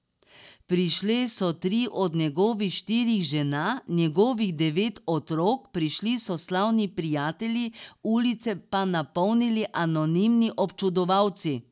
Prišle so tri od njegovih štirih žena, njegovih devet otrok, prišli so slavni prijatelji, ulice pa napolnili anonimni občudovalci.